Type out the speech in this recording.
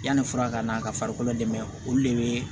Yanni fura ka na ka farikolo dɛmɛ olu de bɛ